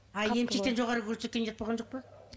ал емшектен жоғары көрсеткен ұят болған жоқ па